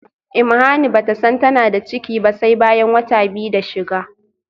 imuhani bata san tana da ciki ba sai bayan wata biyu da shiga